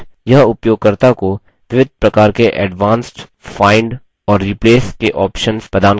यह उपयोगकर्ता को विविध प्रकार के एडवांस्ड find खोज और replace के ऑप्शन्स प्रदान करता है